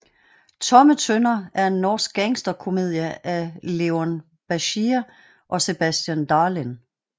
Tomme Tønner er en norsk gangsterkomedie af Leon Bashir og Sebastian Dalén